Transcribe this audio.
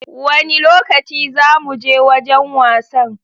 Wanne lokaci za mu Je wajan wasan?